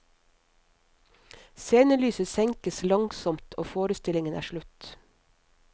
Scenelyset senkes langsomt og forestillingen er slutt.